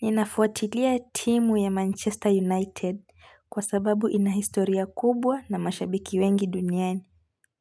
Ninafuatilia timu ya Manchester United kwa sababu inahistoria kubwa na mashabiki wengi duniani